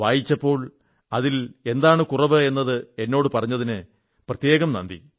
വായിച്ചപ്പോൾ അതിന് എന്താണ് കുറവ് എന്നത് എന്നോടു പറഞ്ഞതിനു വളരെയധികം നന്ദി